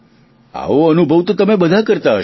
આવો અનુભવ તો તમે બધા કરતા હશો